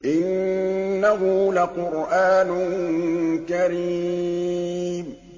إِنَّهُ لَقُرْآنٌ كَرِيمٌ